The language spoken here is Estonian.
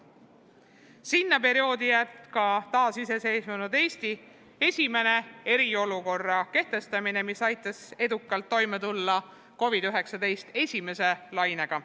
Sinna perioodi jääb ka taasiseseisvunud Eesti esimene eriolukorra kehtestamine, mis aitas edukalt toime tulla COVID-19 esimese lainega.